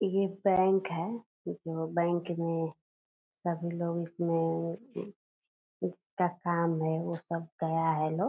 ये बैंक है वो जो बैंक में सभी लोग इसमें जिसका काम है वो सब गया है लोग।